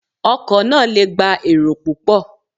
Ọkọ̀ náà lè gbà èrò púpò.